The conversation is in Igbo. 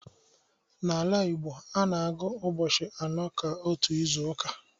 N’ala Igbo, a na-agụ ụbọchị anọ ka otu izu uka.